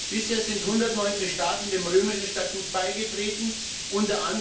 Bisher sind 119 Staaten dem Römischen Statut beigetreten, u.